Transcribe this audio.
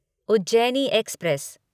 Ujjaini express